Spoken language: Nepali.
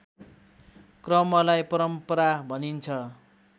क्रमलाई परम्परा भनिन्छ